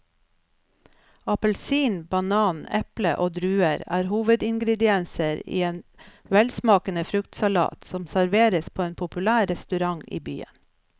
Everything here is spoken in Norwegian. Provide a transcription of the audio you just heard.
Appelsin, banan, eple og druer er hovedingredienser i en velsmakende fruktsalat som serveres på en populær restaurant i byen.